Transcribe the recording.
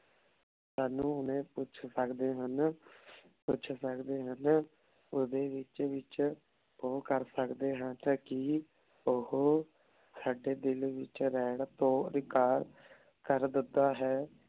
ਸਾਨੂ ਓਨੇ ਪੁੱਛ ਸਕਦੇ ਹਨ ਪੁੱਛ ਸਕਦੇ ਹਨ ਓਡੀ ਵਿਚ ਵਿਚ ਊ ਕਰ ਸਕਦੇ ਹਨ ਤਾਂ ਕੀ ਓਹੋ ਸਾਡੇ ਦਿਲ ਵਿਚ ਰਹਨ ਤੋ ਇਨਕਾਰ ਕਰ ਦਿਤਾ ਹੈ